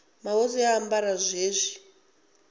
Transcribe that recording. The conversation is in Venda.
mahosi a ambara zwone zwi